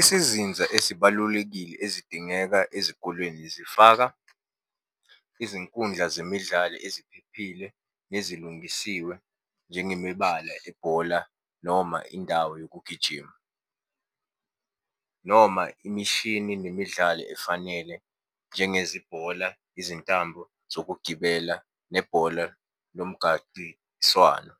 Isizinza ezibalulekile ezidingeka ezikolweni zifaka izinkundla zemidlalo eziphephile nezilungisiwe, njengemibala ebhola noma indawo yokugijima, noma imishini, nemidlalo efanele, njengezibhola, izintambo zokugibela, nebhola lomgaqiswano.